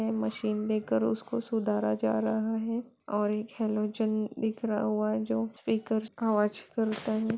Machine लेकर उसको सुधारा जा रहा है और एक हेलोज बिखरा हुआ है जो स्पीकर आवाज़ करता है।